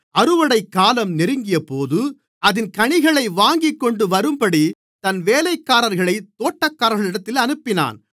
அறுவடைக்காலம் நெருங்கியபோது அதின் கனிகளை வாங்கிக்கொண்டுவரும்படி தன் வேலைக்காரர்களைத் தோட்டக்காரர்களிடத்தில் அனுப்பினான்